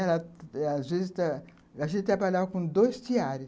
E ela, às vezes, trabalhava com dois tiares.